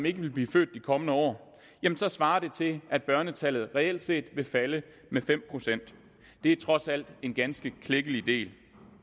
ikke vil blive født de kommende år svarer det til at børnetallet reelt set vil falde med fem procent det er trods alt en ganske klækkelig del